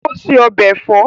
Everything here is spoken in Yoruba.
Ó se ọbẹ̀ ẹ̀fọ́